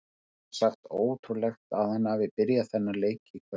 Hreint út sagt ótrúlegt að hann hafi byrjað þennan leik í kvöld.